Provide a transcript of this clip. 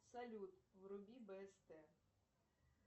салют вруби бст